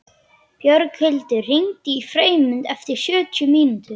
Björghildur, hringdu í Freymund eftir sjötíu mínútur.